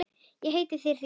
Ég heiti þér því.